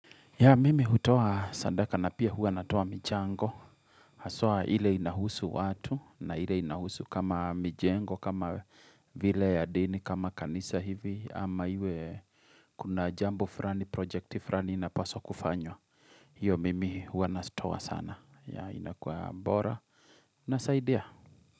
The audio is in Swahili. Ya mimi hutuo sadaka na pia huwa natua michango. Haswa ile inahusu watu na ile inahusu kama mijengo, kama vile ya dini, kama kanisa hivi. Ama iwe kuna jambo frani, projecti frani inapaswa kufanywa. Hiyo mimi huwa nazitoa sana. Ya inakuwa bora. Inasaidia.